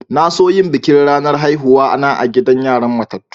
Na so yin bikin ranar haihuwa na a'gidan yaran matatu.